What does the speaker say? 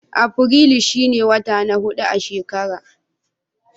Afirilu shi ne wata na hudu a shekara.